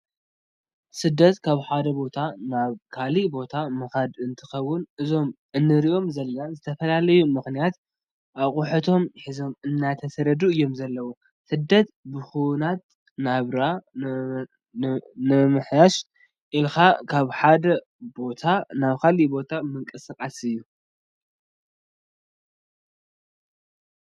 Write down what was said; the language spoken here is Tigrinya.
ስደት ካብ ሓደ ቦታ ናብ ካሊእ ቦታ ምካድ እንትከውን እዞም እንሪኦም ዘለና ብዝተፈላለዩ ምክንያታት ኣቁሑቶም ሒዞም እንዳተሰደዱ እዮም ዘለው። ስደት ብኩናት፣ ናብራ ንምምሕያሽ ኢልካ ካብ ሓደ ቦታ ናብ ካሊእ ቦታ ምንቅስቃስ እዩ።